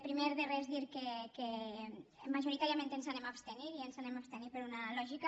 primer de res dir que majoritàriament ens anem a abstenir i ens anem a abstenir per una lògica